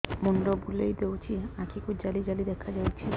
ମୁଣ୍ଡ ବୁଲେଇ ଦେଉଛି ଆଖି କୁ ଜାଲି ଜାଲି ଦେଖା ଯାଉଛି